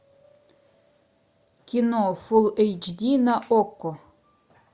кино фул эйч ди на окко